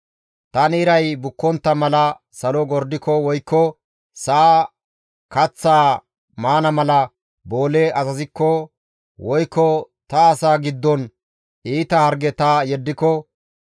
Tani iray bukkontta mala salo gordiko woykko sa7a kaththaa maana mala boole azazikko, woykko ta asaa giddon iita harge ta yeddiko,